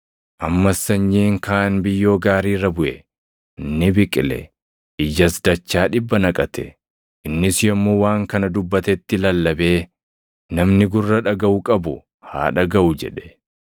Ammas sanyiin kaan biyyoo gaarii irra buʼe. Ni biqile; ijas dachaa dhibba naqate.” Innis yommuu waan kana dubbatetti lallabee, “Namni gurra dhagaʼu qabu haa dhagaʼu” jedhe.